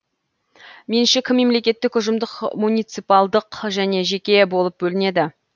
меншік мемлекеттік ұжымдық муниципалдық және жеке болып бөлінеді